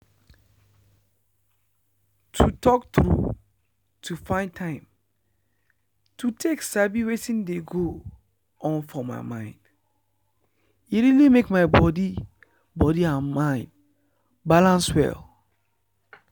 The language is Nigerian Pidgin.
to talk true to find time to take sabi wetin dey go on for my mind e really make my body body and mind balance well.